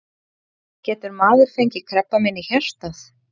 Getur maður fengið krabbamein í hjartað?